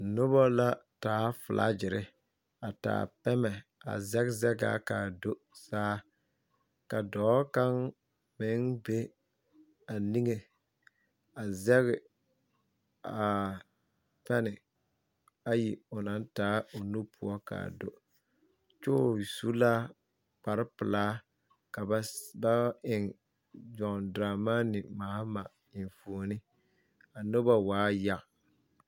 Noba la taa filaagyiri a taa pɛmɛ a zege ka a do saa ka dɔɔ kaŋ meŋ be niŋe zage ayi o naŋ taa a nu poɔ ka a do kyɛo su la kparepelaa ka ba eŋ John Dramani Mahama enfuoni a noba waa yaga.